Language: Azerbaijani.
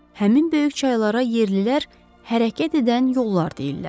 Həmin böyük çaylara yerlilər hərəkət edən yollar deyirlər.